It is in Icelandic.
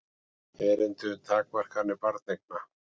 Erindi um takmarkanir barneigna.